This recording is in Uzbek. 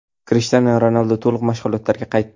Krishtianu Ronaldu to‘liq mashg‘ulotlarga qaytdi.